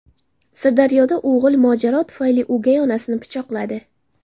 Sirdaryoda o‘g‘il mojaro tufayli o‘gay onasini pichoqladi.